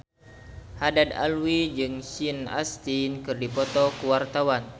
Haddad Alwi jeung Sean Astin keur dipoto ku wartawan